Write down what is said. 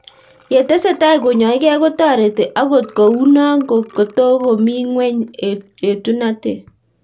Ye tesetai konyaig'ei ko tareti akot kou noo ko tokomii ng'weny etunatet